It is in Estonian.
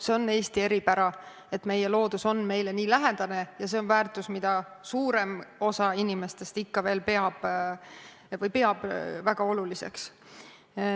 See on Eesti eripära, et meie loodus on meile nii lähedane, ja see on väärtus, mida suurem osa inimestest ikka veel peab väga oluliseks.